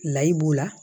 Layi b'u la